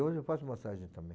Hoje eu faço massagem também.